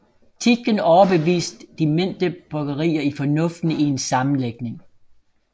Tietgen overbevist de mindre bryggerier i fornuften i en sammenlægning